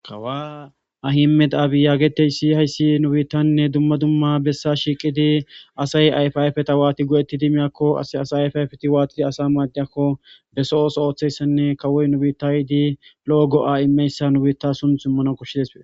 Kawa ahime daabiyaageteysi hayssi nu biittanne dumma dumma bessa shiiqidi asay ayfayfeta waati go'etti di miyakko as asayayfayfeti waatidi asa maaddiyakko be so'os ooththeyssanne kawoy nubiitay di lo'o go'a immeyssa nu biitta sunthummano koshshidespee.